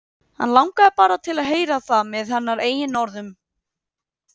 Hann langaði bara til að heyra það með hennar eigin orðum.